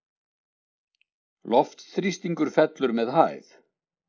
Loftþrýstingur fellur með hæð.